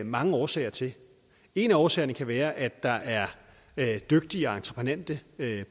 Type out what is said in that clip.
mange årsager til en af årsagerne kan være at der er er dygtige og entreprenante